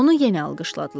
Onu yenə alqışladılar.